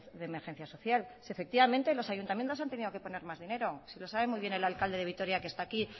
de emergencia social sí efectivamente los ayuntamientos han tenido que poner más dinero si lo sabe muy bien el alcalde de vitoria que está aquí